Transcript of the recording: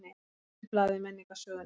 Brotið blað í menningarsögunni